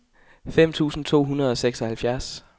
fem tusind to hundrede og seksoghalvfjerds